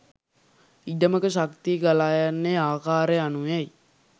ඉඩමක ශක්තිය ගලා යන්නේ ආකාරය අනුවයි.